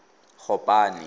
gopane